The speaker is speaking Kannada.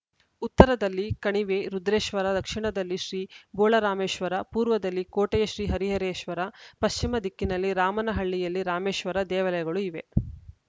ಉತ್ತರದಲ್ಲಿ ಕಣಿವೆ ರುದ್ರೇಶ್ವರ ದಕ್ಷಿಣದಲ್ಲಿ ಶ್ರೀ ಬೋಳರಾಮೇಶ್ವರ ಪೂರ್ವದಲ್ಲಿ ಕೋಟೆಯ ಶ್ರೀ ಹರಿಹರೇಶ್ವರ ಪಶ್ಚಿಮ ದಿಕ್ಕಿನಲ್ಲಿ ರಾಮನಹಳ್ಳಿಯಲ್ಲಿ ರಾಮೇಶ್ವರ ದೇವಾಲಯಗಳು ಇವೆ